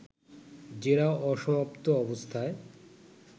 জেরা অসমাপ্ত অবস্থায়